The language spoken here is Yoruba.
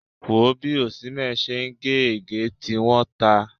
Wò ó bí Osimhen ṣe ń gé ègé, tí wọ́n ta!